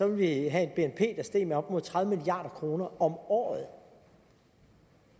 vi have et bnp der steg med op imod tredive milliard kroner om året